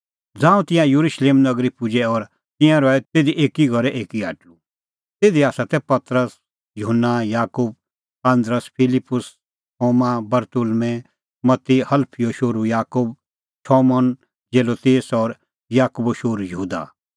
ज़ांऊं तिंयां येरुशलेम नगरी पुजै और तिंयां रहै तिधी एकी घरे एकी टाहल़ै तिधी तै पतरस युहन्ना याकूब आन्दरू फिलिप्पुस थोमा बरतुल्मैं मत्ती हलफीओ शोहरू याकूब शमौन जेलोतेस और याकूबो शोहरू यहूदा